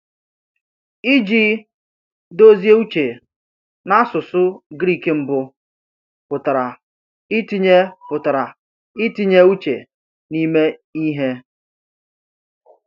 Iji dozie uche, n’asụsụ Greek mbụ, pụtara itinye pụtara itinye uche n’ime ihe.